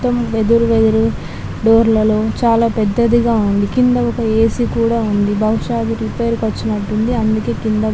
--తం వెదురు వేదురుగా డోర్ల లో చాలా పెద్దదిగా ఉంది కింద ఒక ఏ_సీ కూడా ఉంది బహుశా అది రిపేర్ కి వచ్చినట్టు ఉంది అందుకే కింద పడేశారు --.